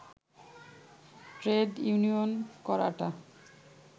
trade union করাটা